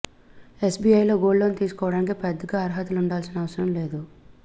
ఎస్బీఐలో gold loan తీసుకోవడానికి పెద్దగా అర్హతలు ఉండాల్సిన అవసరం లేదు